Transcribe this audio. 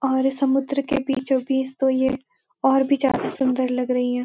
और समुद्र के बीचों बीच तो ये और भी ज्यादा सुन्दर लग रही है।